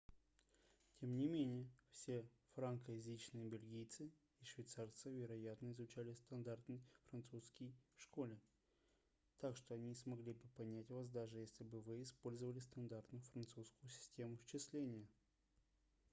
тем не менее все франкоязычные бельгийцы и швейцарцы вероятно изучали стандартный французский в школе так что они смогли бы понять вас даже если бы вы использовали стандартную французскую систему счисления